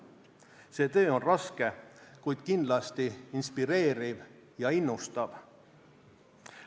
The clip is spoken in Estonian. See töö on raske, kuid kindlasti inspireeriv ja innustav.